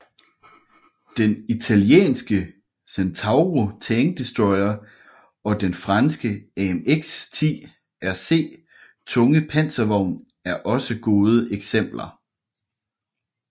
Den italienske Centauro tankdestroyer og den franske AMX 10 RC tunge panservogn er også gode eksempler